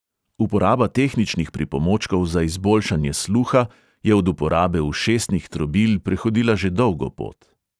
Uporaba tehničnih pripomočkov za izboljšanje sluha je od uporabe ušesnih trobil prehodila že dolgo pot.